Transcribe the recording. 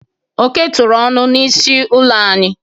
Oke tụrụ ọnụ n'isi ụlọ anyị.